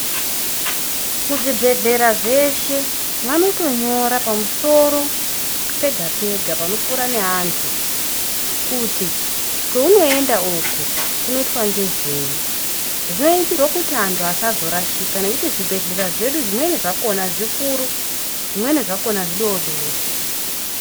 Muzvibhehlera zveshe vanotonyora pamusoro pega-gega panopfuura neantu kuti kwounoenda uku kunoitwa ngezvei. Zvinoitirwe kuti antu asazorashika nekuti zvibhehlera zvedu zvimweni zvakona zvikuru zvimweni zvakona zvodoodori.